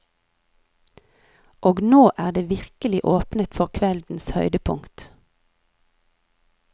Og nå er det virkelig åpnet for kveldens høydepunkt.